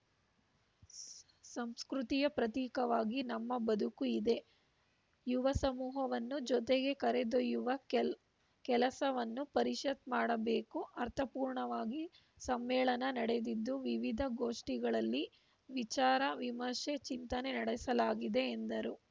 ಸಂಸ್ಕೃತಿಯ ಪ್ರತೀಕವಾಗಿ ನಮ್ಮ ಬದುಕು ಇದೆ ಯುವ ಸಮೂಹವನ್ನು ಜೊತೆಗೆ ಕರೆದೊಯ್ಯುವ ಕೆ ಕೆಸಲವನ್ನು ಪರಿಷತ್‌ ಮಾಡಬೇಕು ಅರ್ಥಪೂರ್ಣವಾಗಿ ಸಮೇಳನ ನಡೆದಿದ್ದು ವಿವಿಧ ಗೋಷ್ಠಿಗಳಲ್ಲಿ ವಿಚಾರ ವಿಮರ್ಶೆ ಚಿಂತನೆ ನಡೆಸಲಾಗಿದೆ ಎಂದರು